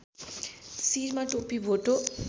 शिरमा टोपी भोटो